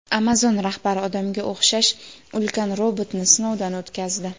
Amazon rahbari odamga o‘xshash ulkan robotni sinovdan o‘tkazdi .